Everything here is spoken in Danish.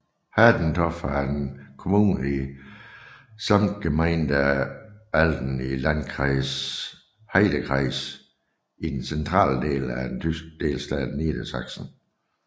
Hademstorf er en kommune i Samtgemeinde Ahlden i Landkreis Heidekreis i den centrale del af den tyske delstat Niedersachsen